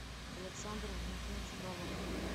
александр валентинович фролов